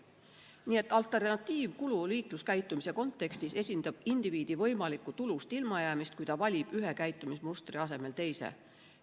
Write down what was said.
Nii et alternatiivkulu liikluskäitumise kontekstis esindab indiviidi võimalikku tulust ilmajäämist, kui ta valib ühe käitumismustri asemel teise.